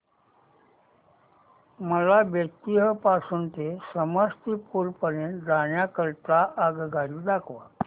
मला बेत्तीयाह पासून ते समस्तीपुर पर्यंत जाण्या करीता आगगाडी दाखवा